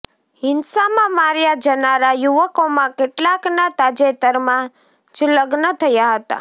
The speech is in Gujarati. હિંસામાં માર્યાં જનારા યુવકોમાં કેટલાકનાં તાજેતરમાં જ લગ્ન થયાં હતાં